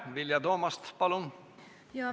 Vilja Toomast, palun!